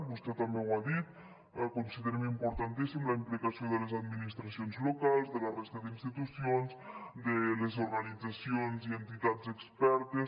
vostè també ho ha dit considerem importantíssima la implicació de les administracions locals de la resta d’institucions de les organitzacions i entitats expertes